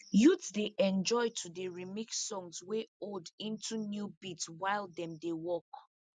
youths dey enjoy to dey remix songs wey old into new beats while dem dey work